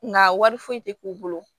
Nka wari foyi tɛ k'u bolo